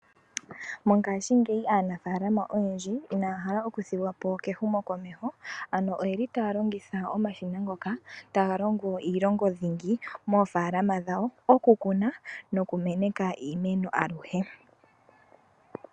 Mongashingeyi aanafalama oyendji inaya hala oku thigwapo kehumo komeho, ano oyeli taya longitha omashina ngoka, taga longo iilonga dhingi moofalama dhawo, oku kuna noku meneka iimeno aluhe.